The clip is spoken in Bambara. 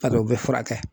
Bari o bɛ furakɛ